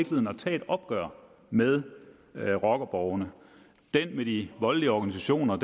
tage et opgør med rockerborgene den med de voldelige organisationer